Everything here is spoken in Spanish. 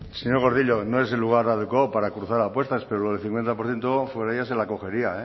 señor gordillo no es el lugar adecuado para cruzar apuestas pero lo del cincuenta por ciento se la cogería